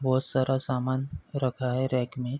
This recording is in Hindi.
बहोत सारा सामान रखा है रैक में।